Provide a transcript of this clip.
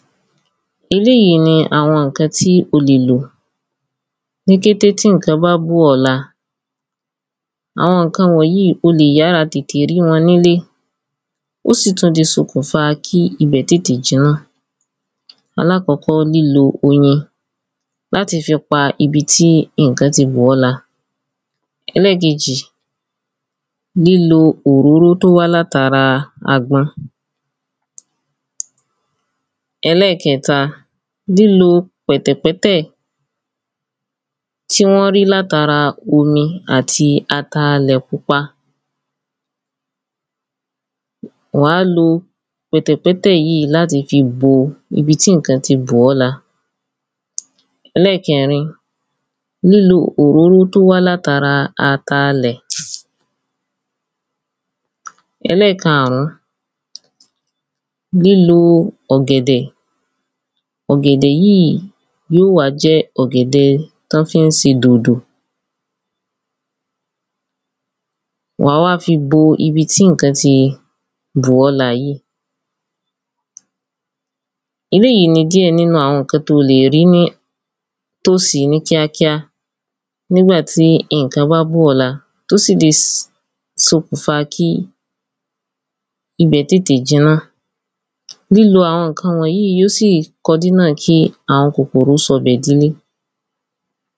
Eléyí ni àwọn ǹkan to o lè lò ní kété tí ǹkan bá bó ọ̀ láa àwọn ǹkan wọ̀nyí o lè yára tètè rí wọn nílé ó sì tún di sokùnfa kí ibẹ̀ tètè jirán alákọ́kọ́ lílo oyin láti fi pa ibi tí ìnkan ti bò ọ́ láa ẹlẹ́kejì lílo òróró tó wá látara àgbọn ẹlẹ́kẹ̀ta lílo pẹ̀tẹ̀pẹ́tẹ̀ tí wọ́n rí látara omi àti ataalẹ̀ pupa wàá lo pẹ̀tẹ̀pẹ́tẹ̀ láti fi bo ibi tí ìnkan ti bò ọ́ láa ẹlẹ́kẹ̀rin lílo òróró tó wá látara ataalẹ̀ ẹlẹ́kàrún lílo ọ̀gẹ̀dẹ̀ ọ̀gẹ̀dẹ̀ yíì yí ó wá jẹ́ ọ̀gẹ̀dẹ̀ tọ́ fí ń se dòdò wàá wá fi bó ibi tí ìnkan ti bò ọ́ láa yíì eléyí ni díẹ̀ nínú àwọn ǹkan to lè rí ní tó sí ní kíákíá nígbà tí iǹkan bá bó ọ̀ láa tó sì le sokùnfa kí ibẹ̀ tètè jiná lílo àwọn ǹkan wọ̀nyí ó sì kọ dínà kíàwọn kòkòrò sọ bẹ̀ dilé